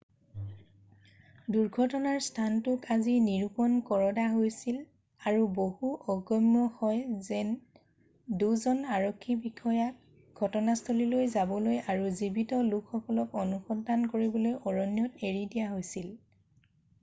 দুৰ্ঘটনাৰ স্থানটোক আজি নিৰুপণ কৰডা হৈছিল আৰু বহুত অগম্য হয় যে 2 জন আৰক্ষী বিষয়াক ঘটনাস্থললৈ যাবলৈ আৰু জীৱিত লোকসকলক অনুসন্ধান কৰিবলৈ অৰণ্যত এৰি দিয়া হৈছিল৷